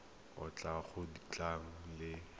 o tlile go tla le